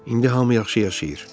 İndi hamı yaxşı yaşayır.